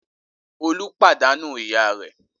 Olú pàdánù ìyá rẹ̀?